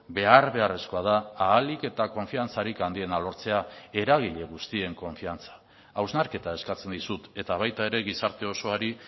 behar beharrezkoa da ahalik eta konfiantzarik handiena lortzea eragile guztien konfiantza hausnarketa eskatzen dizut eta baita ere gizarte osoari